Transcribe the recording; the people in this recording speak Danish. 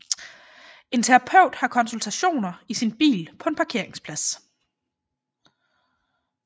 En terapeut har konsultationer i sin bil på en parkeringsplads